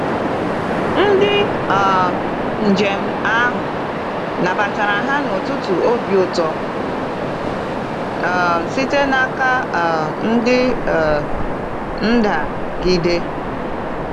Ndị um njem ahụ nabatara ha n’ụtụtụ obi ụtọ um site n’aka um ndị ndagide.